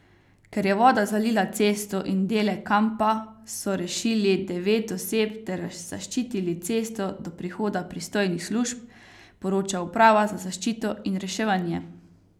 Ker je voda zalila cesto in dele kampa so rešili devet oseb ter zaščitili cesto do prihoda pristojnih služb, poroča Uprava za zaščito in reševanje.